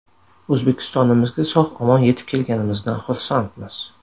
O‘zbekistonimizga sog‘-omon yetib kelganimizdan xursandmiz.